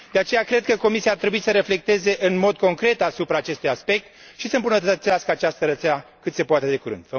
De aceea cred că Comisia ar trebui să reflecteze în mod concret asupra acestui aspect și să îmbunătățească această rețea cât se poate de curând.